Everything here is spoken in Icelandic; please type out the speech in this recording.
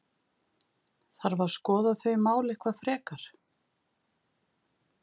Þarf að skoða þau mál eitthvað frekar?